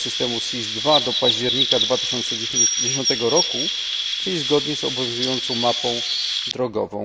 systemu SIS II do października 2010 roku, czyli zgodnie z obowiązującą mapą drogową.